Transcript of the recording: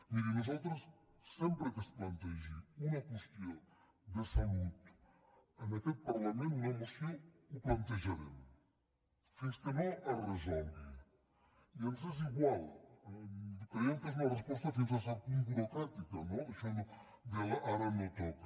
miri nosaltres sempre que es plantegi una qüestió de salut en aquest parlament una moció ho plantejarem fins que no es resolgui i ens és igual creiem que és una resposta fins a cert punt burocràtica això no del ara no toca